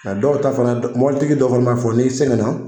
Nga dɔw ta fana mɔbilitigi dɔ fana n'a fɔ n'i sɛgɛn na